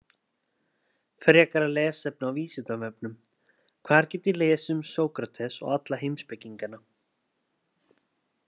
Frekara lesefni á Vísindavefnum: Hvar get ég lesið um Sókrates og alla heimspekingana?